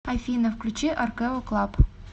афина включи аркэо клаб